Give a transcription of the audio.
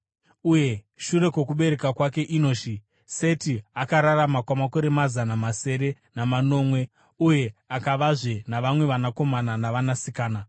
Uye shure kwokubereka kwake Enoshi, Seti akararama kwamakore mazana masere namanomwe uye akavazve navamwe vanakomana navanasikana.